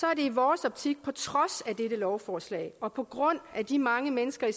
er det i vores optik på trods af dette lovforslag og på grund af de mange mennesker i